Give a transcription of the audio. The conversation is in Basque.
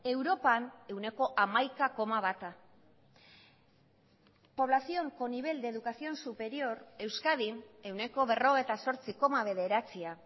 europan ehuneko hamaika koma bata población con nivel de educación superior euskadin ehuneko berrogeita zortzi koma bederatzia